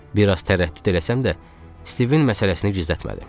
Bir az tərəddüd eləsəm də, Stivin məsələsini gizlətmədim.